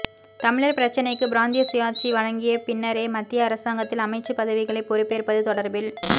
தமிழர் பிரச்சினைக்கு பிராந்திய சுயாட்சி வழங்கிய பின்னரே மத்திய அரசாங்கத்தில் அமைச்சுப் பதவிகளை பெறுப்பேற்பது தொடர்பில்